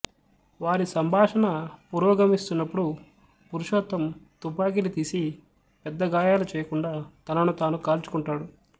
వారి సంభాషణ పురోగమిస్తున్నప్పుడు పురుషోత్తం తుపాకీని తీసి పెద్ద గాయాలు చేయకుండా తనను తాను కాల్చుకుంటాడు